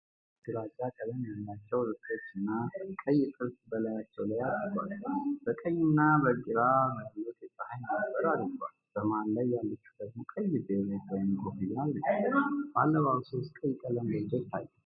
ሶስት ሴቶች ግራጫ ቀለም ያላቸው ልብሶችና ቀይ ጥልፍ በላያቸው ላይ አድርገዋል። በቀኝና በግራ ያሉት የፀሐይ መነፅር አድርገዋል፤ በመሃል ላይ ያለችው ደግሞ ቀይ ቤሬት ወይም ኮፍያ አድርጋለች። በአለባበሱ ውስጥ ቀይ ቀለም ጎልቶ ይታያል።